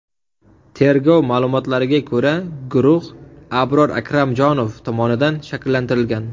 Tergov ma’lumotlariga ko‘ra, guruh Abror Akramjonov tomonidan shakllantirilgan.